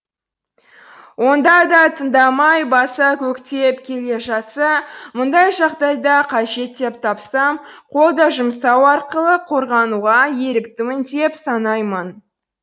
онда да тыңдамай баса көктеп келе жатса мұндай жағдайда қажет деп тапсам қол да жұмсау арқылы қорғануға еріктімін деп санаймын